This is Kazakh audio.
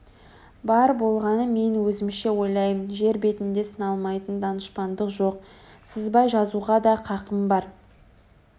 бар болғаны мен өзімше ойлаймын жер бетінде сыналмайтын данышпандық жоқ сызбай жазуға да қақым бар